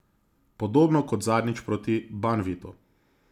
Podobno kot zadnjič proti Banvitu.